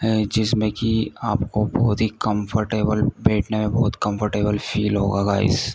हैं जिसमें कि आपको बहुत ही कंफर्टेबल बैठने में बहुत ही कंफर्टेबल फील होगा गाइस ।